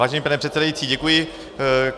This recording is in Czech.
Vážený pane předsedající, děkuji.